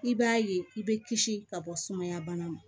I b'a ye i bɛ kisi ka bɔ sumaya bana ma